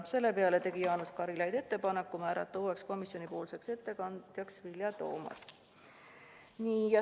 Selle peale tegi Jaanus Karilaid ettepaneku määrata uueks ettekandjaks Vilja Toomast.